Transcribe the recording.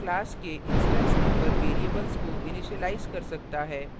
यह class के instance number variables को इनिशिलाइज कर सकता है